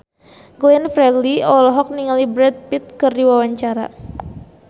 Glenn Fredly olohok ningali Brad Pitt keur diwawancara